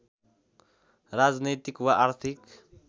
राजनैतिक वा आर्थिक